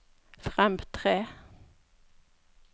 fremtre